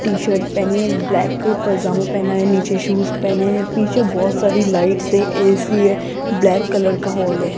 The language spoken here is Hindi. टी शर्ट पहनी है ब्लैक पजामा पहना है नीचे शूज पहने है पीछे बहोत सारी लाइट्स है ए_सी है ब्लैक कलर का हॉल है।